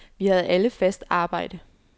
Vi havde alle fast arbejde.